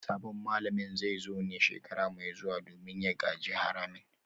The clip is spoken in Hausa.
Sabon malamin zai zo ne a shekara mai zuwa domin ya gaji haramin